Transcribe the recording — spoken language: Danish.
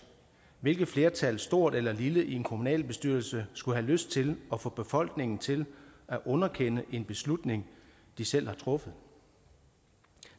hvilket flertal stort eller lille i en kommunalbestyrelse skulle have lyst til at få befolkningen til at underkende en beslutning de selv har truffet